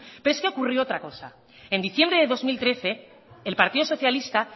pero es que ocurrió otra cosa en diciembre de dos mil trece el partido socialista